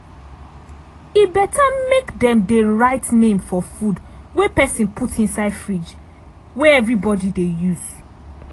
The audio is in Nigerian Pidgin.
e better make dem dey write name for food wey pesin put inside fridge wey everybody dey use.